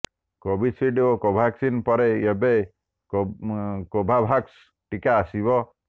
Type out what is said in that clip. Covishield ଓ କୋଭାକ୍ସିନ ପରେ ଏବେ କୋଭୋଭାକ୍ସ ଟିକା ଆସିବ